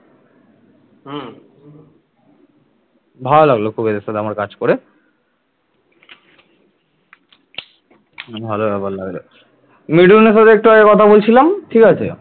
মিঠুনের সাথে একটু আগে কথা বলছিলাম ঠিক আছে